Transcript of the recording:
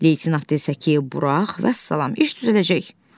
Leytenant desə ki, burax, vəssalam, iş düzələcək.